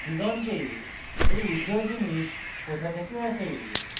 দিগন্তে এই উজ্জ্বল জিনিস কোথা থেকে আসে